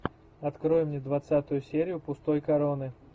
открой мне двадцатую серию пустой короны